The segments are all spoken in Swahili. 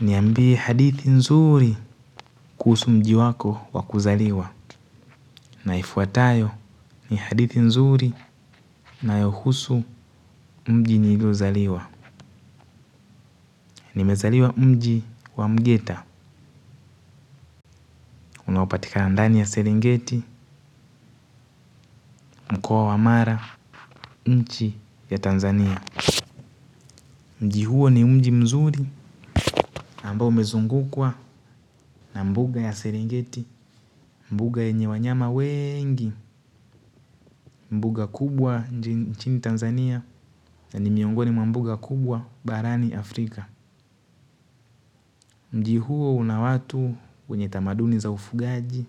Niambie hadithi nzuri kuhusu mji wako wakuzaliwa. Naifuatayo ni hadithi nzuri nayohusu mji nilio zaliwa nimezaliwa mji wa mgeta. Unaopatikana ndani ya seringeti, mkua wa amara, mchi ya Tanzania mji huo ni mji mzuri na ambao umezungukwa na mbuga ya serengeti mbuga yanye wanyama wengi mbuga kubwa nchini tanzania na ni miongoni mwa mnuga kubwa barani afrika. Mji huo una watu wenyetamaduni za ufugaji.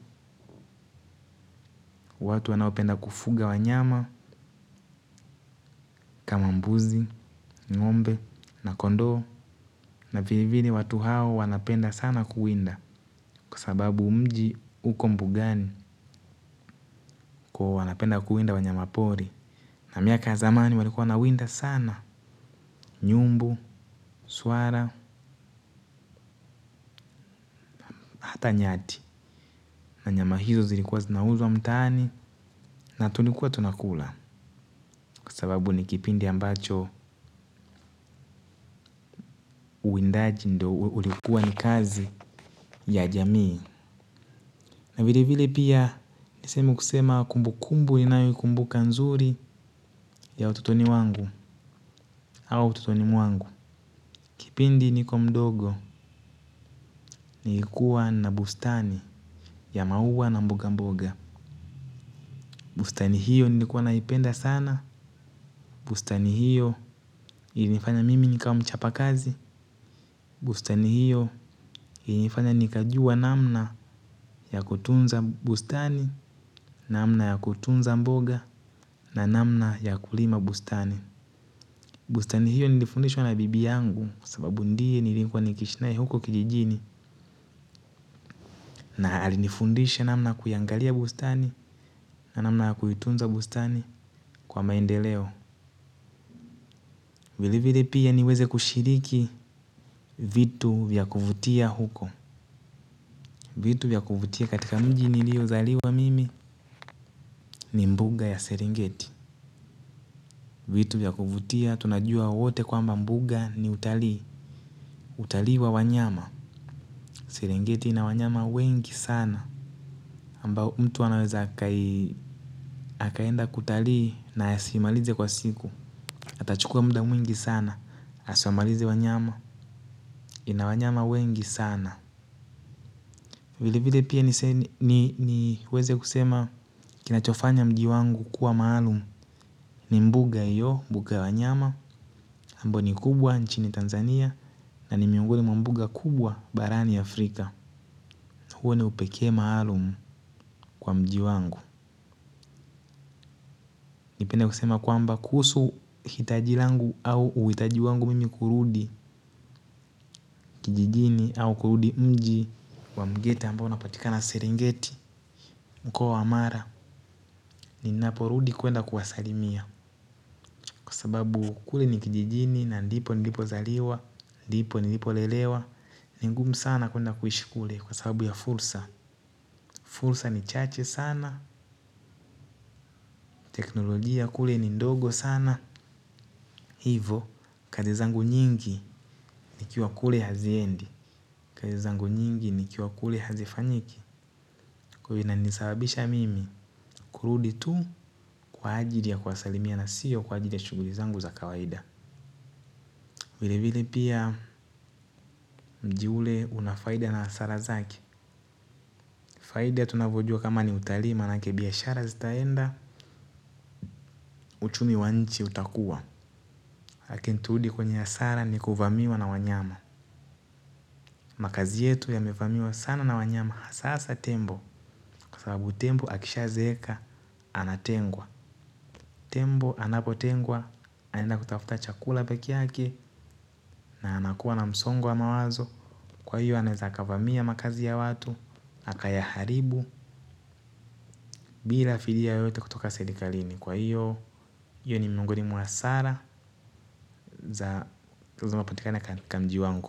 Watu wanaopenda kufuga wanyama. Kama mbuzi, ngombe na kondo. Na vile vile watu hao wanapenda sana kuwinda. Kwa sababu mji uko mbugani. Kwa wanapenda kuwinda wanyama pori. Na miaka zamani walikua nawinda sana nyumbu, suara, hata nyati. Na nyama hizo zilikuwa zinauzwa mtani. Na tunikuwa tunakula. Kusababu ni kipindi ambacho uwindaji ndo ulikuwa ni kazi ya jamii. Na vile vile pia nisehemu kusema kumbu kumbu inayo ikumbuka nzuri ya ututoni wangu au ututoni mwangu. Kipindi niko mdogo nilikuwa na bustani ya mauwa na mboga mboga bustani hiyo nilikuwa naipenda sana. Bustani hiyo ilinifanya mimi nikawamchapa kazi. Bustani hiyo ilinifanya nikajua namna ya kutunza bustani, namna ya kutunza mboga, na namna ya kulima bustani. Bustani hiyo nilifundishwa na bibi yangu, sababu ndiye niliekuwa nikishnai huko kijijini na alinifundisha namna kuyangalia bustani, na namna kuitunza bustani kwa maendeleo. Vile vile pia niweze kushiriki vitu vyakuvutia huko. Vitu vyakuvutia katika mji nilio zaliwa mimi ni mbuga ya serengeti. Vitu vyakuvutia tunajua wote kwa mbuga ni utalii utalii wa wanyama sirengeti inawanyama wengi sana ambao mtu wanaweza akaenda kutali na asimalize kwa siku atachukua muda mwingi sana asuamalize wanyama inawanyama wengi sana vile vile pia niweze kusema kinachofanya mji wangu kuwa maalum ni mbuga iyo mbuga wanyama ambao ni kubwa nchini Tanzania na ni miungoni mwa mbuga kubwa barani Afrika huo ni upekee maalum kwa mji wangu. Nipende kusema kwamba kuhusu hitaji langu au uhitaji wangu mimi kurudi kijijini au kurudi mji kwa mgeta ambao napotika na seringeti mko wa amara ni naporudi kuenda kuwasalimia kwa sababu kule ni kijijini na ndipo nilipo zaliwa ndipo nilipo lelewa ni ngumu sana kuenda kuishikule kwa sababu ya fulsa. Fulsa ni chache sana teknolojia kule ni ndogo sana. Hivo Kazi zangu nyingi nikiwa kule haziendi Kazi zangu nyingi nikiwa kule hazifanyiki Kuyo ina nisababisha mimi kurudi tu kwa ajili ya kwasalimia na siyo kwa ajili ya shuguli zangu za kawaida Wile vile pia mji ule unafaida na asara zaki Faida tunavojua kama ni utalii manake biashara zitaenda Uchumi wanchi utakua lakin turudi kwenye asara ni kuvamiwa na wanyama Makazi yetu ya mefamiwa sana na wanyama hasasa tembo Kwa sababu tembo akisha zeka, anatengwa Tembo anapotengwa, anenda kutafuta chakula peki yake Na anakuwa na msongo wa mawazo Kwa hiyo anezakavamia makazi ya watu aka yaharibu, bila fidia yoyote kutoka sedikalini Kwa hiyo, hiyo ni miongoni mwa asara Za zinaopatikana kwa mji wangu.